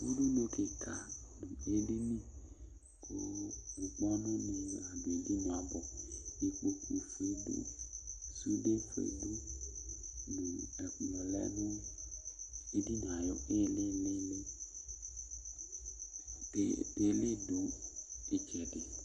Udunu dɩ kʋ alu du edini, kʋ ŋkpɔnʋnɩ adɩ dʋ magɔ Ikpokufue du, sudefue du Ɛkplɔ lɛ nʋ edini yɛ ayʋ ilili Tele dʋ ɩtsɛdɩ